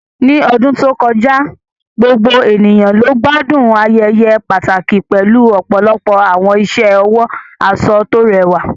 Ní ọdún tó kọjá, gbogbo ènìyàn ló gbádùn ayẹyẹ pàtàkì pẹ̀lú ọ̀pọ̀lọpọ̀ àwọn iṣẹ́ ọwọ́ aṣọ tó rẹwà